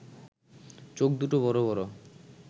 চোখদুটো বড় বড়